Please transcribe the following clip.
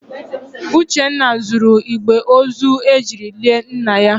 Uchenna zuru igbe ozu ejiri lie nna ya.